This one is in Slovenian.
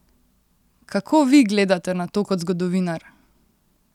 Kako vi gledate na to kot zgodovinar?